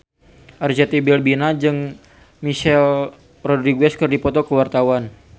Arzetti Bilbina jeung Michelle Rodriguez keur dipoto ku wartawan